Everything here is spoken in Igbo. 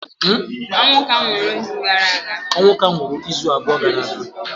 Onwuka nwụrụ izu abụọ gara aga